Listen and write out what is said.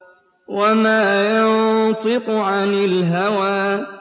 وَمَا يَنطِقُ عَنِ الْهَوَىٰ